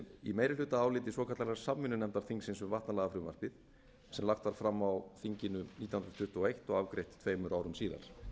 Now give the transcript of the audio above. í meirihlutaáliti svokallaðrar samvinnunefndar þingsins um vatnalagafrumvarpið sem lagt var fram á þinginu nítján hundruð tuttugu og eins og afgreitt tveimur árum síðar